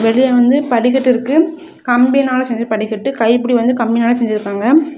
வெளிய வந்து படிக்கட்டு இருக்கு கம்பினால செஞ்ச படிக்கட்டு கைப்பிடி வந்து கம்பினால செஞ்சிருக்காங்க.